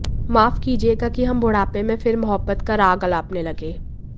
माफ कीजियेगा कि हम बूढ़ापे में फिर मुहब्बत का राग अलापने लगे